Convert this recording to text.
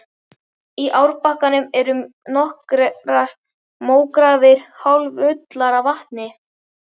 Í árbakkanum voru nokkrar mógrafir hálffullar af vatni.